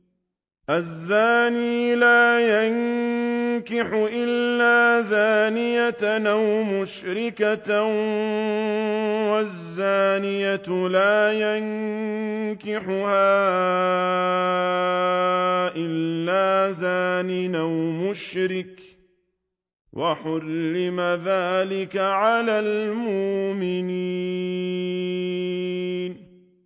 الزَّانِي لَا يَنكِحُ إِلَّا زَانِيَةً أَوْ مُشْرِكَةً وَالزَّانِيَةُ لَا يَنكِحُهَا إِلَّا زَانٍ أَوْ مُشْرِكٌ ۚ وَحُرِّمَ ذَٰلِكَ عَلَى الْمُؤْمِنِينَ